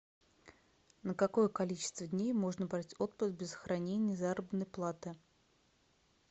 на какое количество дней можно брать отпуск без сохранения заработной платы